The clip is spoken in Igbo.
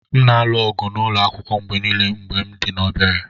M na-alụ ọgụ n’ụlọ akwụkwọ mgbe nile mgbe m dị obere.